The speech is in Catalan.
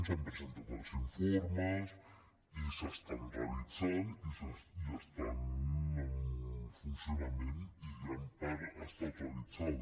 s’han presentat els informes i s’estan realitzant i estan en funcionament i gran part ha estat realitzada